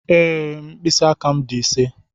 Ee, mkpịsị aka m dị ise.